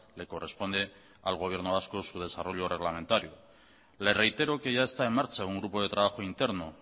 le corresponde al gobierno vasco su desarrollo reglamentario le reitero que ya está en marcha un grupo de trabajo interno